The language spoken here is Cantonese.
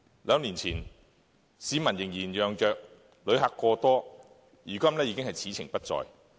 兩年前，市民仍然嚷着旅客過多，如今已是此情不再。